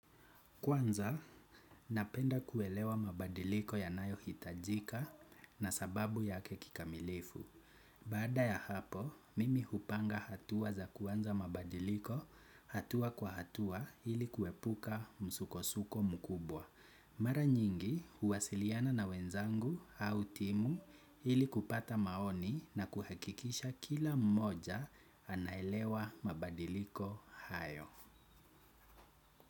Kwanza, napenda kuelewa mabadiliko yanayo hitajika na sababu yake kikamilifu. Baada ya hapo, mimi hupanga hatua za kuanza mabadiliko hatua kwa hatua ili kuepuka msuko-suko mkubwa. Mara nyingi huwasiliana na wenzangu au timu ili kupata maoni na kuhakikisha kila mmoja anaelewa mabadiliko hayo.